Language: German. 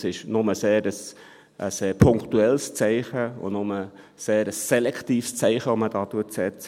Es ist nur ein sehr punktuelles und ein sehr selektives Zeichen, das man setzt.